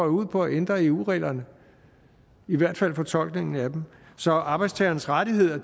ud på at ændre eu reglerne i hvert fald fortolkningen af dem så arbejdstagernes rettigheder